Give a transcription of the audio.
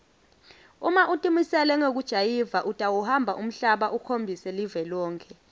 uma utimisele ngekujayiva utawuhamba umhlaba ukhombise live lonkhe